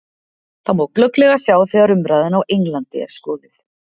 Það má glögglega sjá þegar umræðan á Englandi er skoðuð.